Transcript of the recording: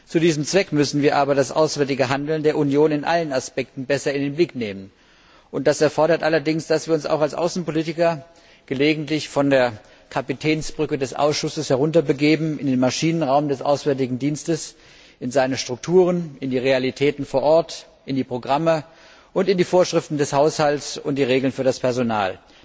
Zu diesem Zweck müssen wir aber das auswärtige Handeln der Union in allen Aspekten besser in den Blick nehmen, und das erfordert allerdings, dass wir uns auch als Außenpolitiker gelegentlich von der Kapitänsbrücke des Ausschusses herunterbegeben in den Maschinenraum des Auswärtigen Dienstes, in seine Strukturen, in die Realitäten vor Ort, in die Programme und in die Vorschriften des Haushalts und die Regeln für das Personal.